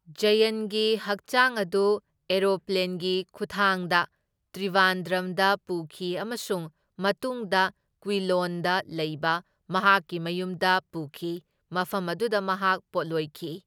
ꯖꯌꯟꯒꯤ ꯍꯛꯆꯥꯡ ꯑꯗꯨ ꯑꯦꯔꯣꯄ꯭ꯂꯦꯟꯒꯤ ꯈꯨꯊꯥꯡꯗ ꯇ꯭ꯔꯤꯕꯥꯟꯗ꯭ꯔꯝꯗ ꯄꯨꯈꯤ ꯑꯃꯁꯨꯡ ꯃꯇꯨꯡꯗ ꯀ꯭ꯋꯤꯂꯣꯟꯗ ꯂꯩꯕ ꯃꯍꯥꯛꯀꯤ ꯃꯌꯨꯝꯗ ꯄꯨꯈꯤ, ꯃꯐꯝ ꯑꯗꯨꯗ ꯃꯍꯥꯛ ꯄꯣꯠꯂꯣꯢꯈꯤ꯫